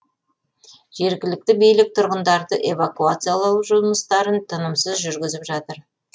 жергілікті билік тұрғындарды эвакуациялау жұмыстарын тынымсыз жүргізіп жатыр